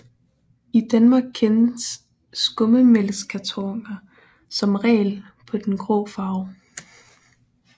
I Danmark kendes skummetmælkskartoner som regel på den grå farve